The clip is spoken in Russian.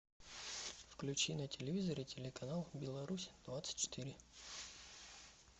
включи на телевизоре телеканал беларусь двадцать четыре